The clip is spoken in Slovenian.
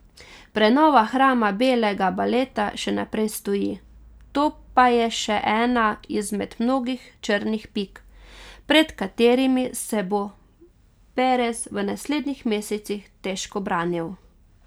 Prenova hrama belega baleta še naprej stoji, to pa je še ena izmed mnogih črnih pik, pred katerimi se bo Perez v naslednjih mesecih težko branil.